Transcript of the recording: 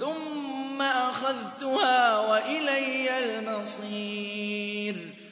ثُمَّ أَخَذْتُهَا وَإِلَيَّ الْمَصِيرُ